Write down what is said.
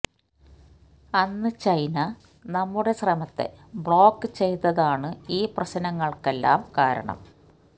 അന്ന് ചൈന നമ്മുടെ ശ്രമത്തെ ബ്ളോക്ക് ചെയ്തതാണു ഈ പ്രശ്നങ്ങൾക്കെല്ലാം കാരണം